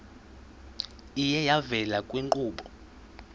iye yavela kwiinkqubo